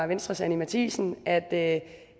venstres anni matthiesen at at